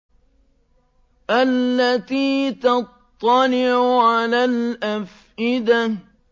الَّتِي تَطَّلِعُ عَلَى الْأَفْئِدَةِ